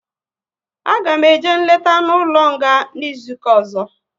A ga eme eje nleta n'ụlọ nga n'izuka ọzọ